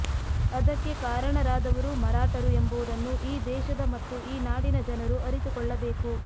ಅದಕ್ಕೆ ಕಾರಣರಾದವರು ಮರಾಠರು ಎಂಬುವುದನ್ನು ಈ ದೇಶದ ಮತ್ತು ಈ ನಾಡಿನ ಜನರು ಅರಿತುಕೊಳ್ಳಬೇಕು